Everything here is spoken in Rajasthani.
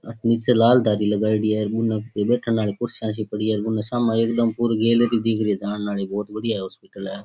अठे निचे लाल दरी लगाईड़ी है बुने कोई बेठन आली कुर्सियां सी पड़ी है बुने सामे एकदम पूरी गैलेरी दिख री है जान आली बहुत बढ़िया हॉस्पिटल है।